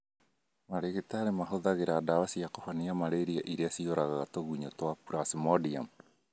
Marigitari mahũthagĩra ndawa cia kũhonia malaria iria ciũragaga tũgunyũ twa Plasmodium